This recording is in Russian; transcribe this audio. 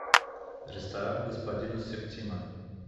ресторан господина септима